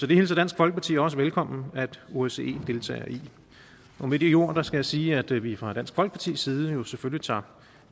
det hilser dansk folkeparti også velkommen at osce deltager i med de ord skal jeg sige at vi fra dansk folkepartis side selvfølgelig tager